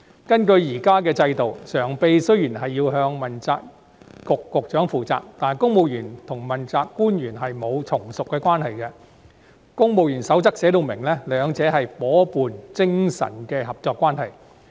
根據現行制度，常任秘書長雖然要向問責局長負責，但公務員和問責官員沒有從屬關係，而《公務員守則》亦訂明兩者是夥伴精神的合作關係。